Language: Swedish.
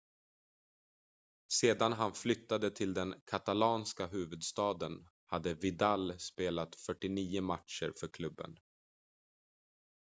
sedan han flyttade till den katalanska huvudstaden hade vidal spelat 49 matcher för klubben